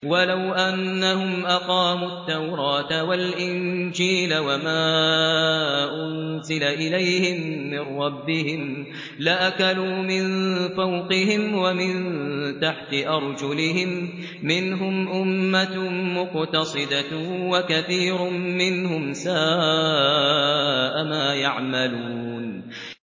وَلَوْ أَنَّهُمْ أَقَامُوا التَّوْرَاةَ وَالْإِنجِيلَ وَمَا أُنزِلَ إِلَيْهِم مِّن رَّبِّهِمْ لَأَكَلُوا مِن فَوْقِهِمْ وَمِن تَحْتِ أَرْجُلِهِم ۚ مِّنْهُمْ أُمَّةٌ مُّقْتَصِدَةٌ ۖ وَكَثِيرٌ مِّنْهُمْ سَاءَ مَا يَعْمَلُونَ